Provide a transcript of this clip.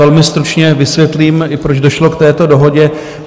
Velmi stručně i vysvětlím, proč došlo k této dohodě.